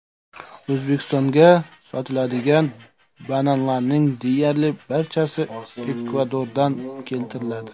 O‘zbekistonga sotiladigan bananlarning deyarli barchasi Ekvadordan keltiriladi.